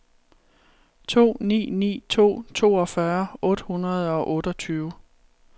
to ni ni to toogfyrre otte hundrede og otteogtyve